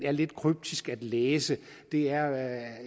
er lidt kryptisk at læse er